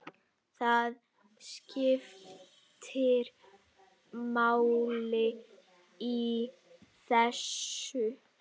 Það skiptir máli í þessu.